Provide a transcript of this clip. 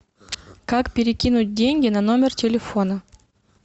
как перекинуть деньги на номер телефона